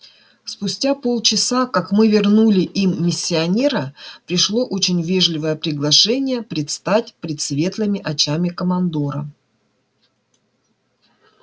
спустя полчаса как мы вернули им миссионера пришло очень вежливое приглашение предстать пред светлыми очами командора